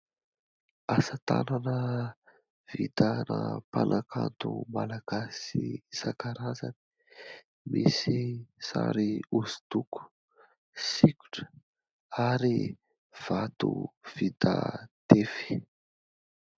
Asatanana vitana mpanankato malagasy isan-karazany. Misy sary hosodoko, sikotra ary vato vita tefy.